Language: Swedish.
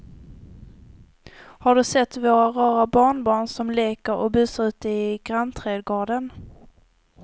Har du sett våra rara barnbarn som leker och busar ute i grannträdgården!